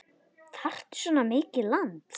Þarftu svona mikið land?